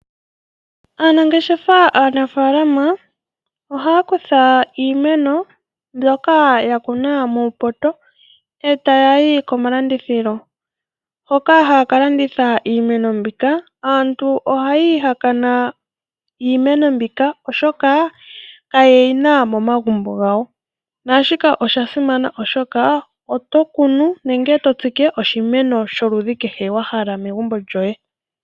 Aanangeshengefa aanafaalama ohaya kutha iimeno mbyoka ya kunwa muupoto e taya yi komalandithilo hoka haya ka landitha iimeno mbika. Aantu ohaya ihakana iimeno mbika, oshoka kaye yi na momagumbo gawo naashika osha simana, oshoka oto kunu nenge to tsike oshimeno sholudhi kehe wa hala megumbo lyoye.